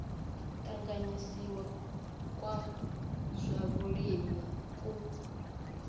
tanganyisiwaho kwa zwa vhulimi ku